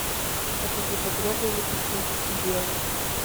покажи багровый лепесток и белый